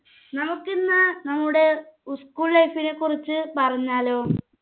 നമുക്ക് ഇന്ന് നമ്മുടെ school life നെ കുറിച്ച് പറഞ്ഞാലോ